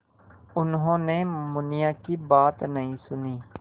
उन्होंने मुनिया की बात नहीं सुनी